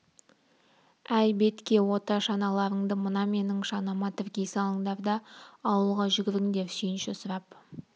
әй бетке ота шаналарыңды мына менің шанама тіркей салыңдар да ауылға жүгіріңдер сүйінші сұрап